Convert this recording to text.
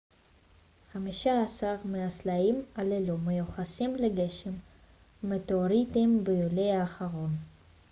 חמישה-עשר מהסלעים הללו מיוחסים לגשם המטאוריטים ביולי האחרון